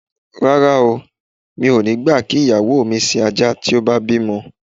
Rara oo, mi ò ní gbà kí ìyàwó mi sin ajá tí a bá ti bímo̩.